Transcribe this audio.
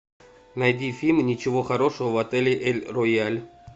найди фильм ничего хорошего в отеле эль рояль